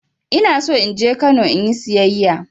Ina so in je Kano in yi sayayya.